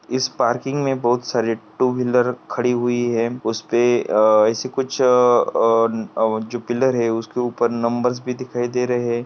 इस पार्किंग में बहुत सारे टू व्हीलर खड़ी हुई है उसपे अ ऐसे कुछ अ अ अ जो पिल्लर है उसके ऊपर नंबरस् भी दिखाई दे रहे है।